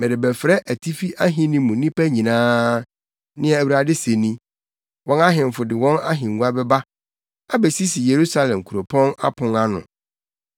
Merebɛfrɛ atifi ahenni mu nnipa nyinaa,” nea Awurade se ni. “Wɔn ahemfo de wɔn ahengua bɛba abesisi Yerusalem kuropɔn apon ano; wɔbɛtow ahyɛ nʼafasu a atwa ahyia ne Yuda nkurow nyinaa so.